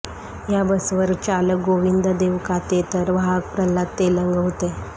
या बसवर चालक गोविंद देवकाते तर वाहक प्रल्हाद तेलंग होते